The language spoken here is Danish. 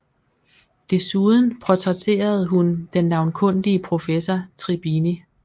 Desuden portrætterede hun den navnkundige professor Tribini